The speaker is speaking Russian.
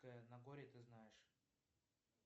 нагорье ты знаешь